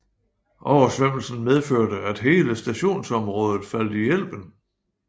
Oversvømmelsen medførte at hele stationsområdet faldt i elven